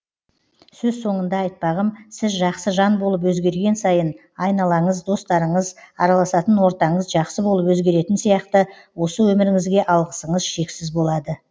сөз соңында айтпағым сіз жақсы жан болып өзгерген сайын айналаңыз достарыңыз араласатын ортаңыз жақсы болып өзгеретін сияқты осы өміріңізге алғысыңыз шексіз болады